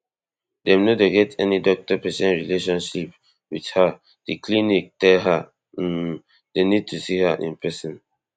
dem no get any doctor patient relationship wit her di clinic tell her um dem need to see her in pesin